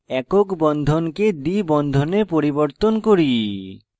একক বন্ধনকে দ্বি বন্ধনে পরিবর্তন করি